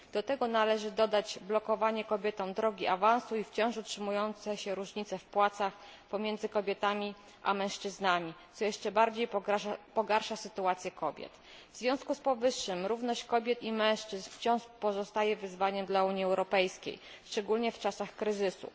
Do tego należy dodać blokowanie kobietom drogi awansu i wciąż utrzymujące się różnice w płacach pomiędzy kobietami a mężczyznami, co jeszcze bardziej pogarsza sytuację kobiet. W związku z powyższym równość kobiet i mężczyzn wciąż pozostaje wyzwaniem dla Unii Europejskiej, szczególnie w czasach kryzysu.